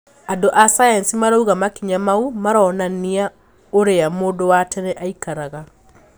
Andũ a science marauga makinya mau maraonania uria mundu wa tene aikaraga.